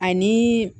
Ani